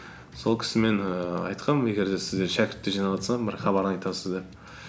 сол кісі мен ііі айтқанмын егер де сіздер шәкіртті жинаватсаң бір хабарын айтасыз деп